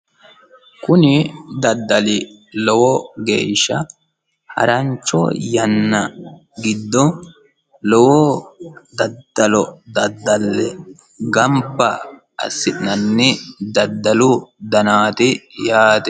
kuni daddali lowo geeshsha harancho yanna giddo lowo daddalo daddalle gamba assi'nanni daddalu danaati yaate.